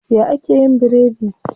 Ya ake yin biredi?